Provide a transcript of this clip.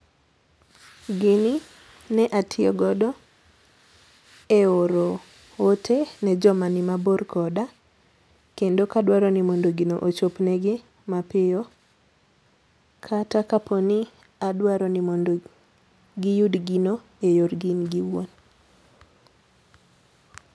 Gini ne atiyo godo e oro ote ne joma ni mabor koda kendo kadwaro ni mondo gino ochopne gi mapiyo kata kaponi adwaro ni mondo giyud gino e yorgi gin giwuon